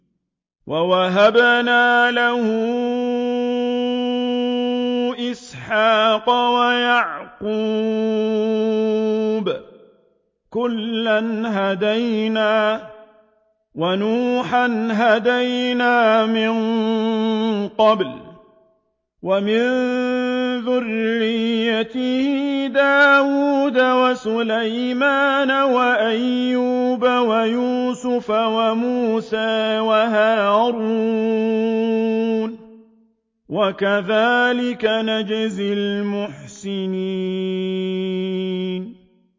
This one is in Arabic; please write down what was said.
وَوَهَبْنَا لَهُ إِسْحَاقَ وَيَعْقُوبَ ۚ كُلًّا هَدَيْنَا ۚ وَنُوحًا هَدَيْنَا مِن قَبْلُ ۖ وَمِن ذُرِّيَّتِهِ دَاوُودَ وَسُلَيْمَانَ وَأَيُّوبَ وَيُوسُفَ وَمُوسَىٰ وَهَارُونَ ۚ وَكَذَٰلِكَ نَجْزِي الْمُحْسِنِينَ